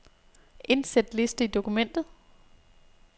Indsæt liste i dokumentet.